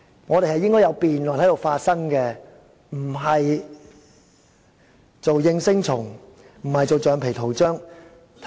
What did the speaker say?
我們應該在這裏進行辯論，不是做應聲蟲，也不應做橡皮圖章。